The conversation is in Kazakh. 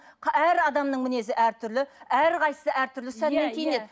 әр адамның мінезі әртүрлі әрқайсысы әртүрлі сәнмен киінеді